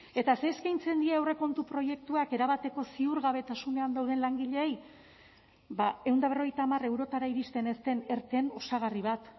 eta ze eskeintzen die aurrekontu proiektuak erabateko ziurgabetasunean dauden langileei ba ehun eta berrogeita hamar eurotara iristen ez erteen osagarri bat